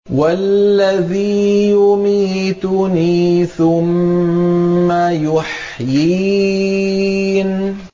وَالَّذِي يُمِيتُنِي ثُمَّ يُحْيِينِ